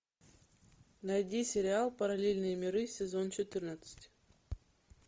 найди сериал параллельные миры сезон четырнадцать